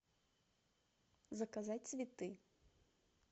заказать цветы